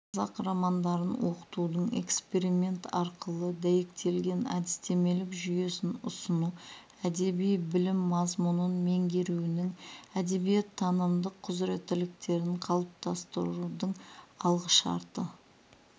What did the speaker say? қазақ романдарын оқытудың эксперимент арқылы дәйектелген әдістемелік жүйесін ұсыну әдеби білім мазмұнын меңгеруінің әдебиеттанымдық құзыреттілктерін қалыптастырудың алғышарты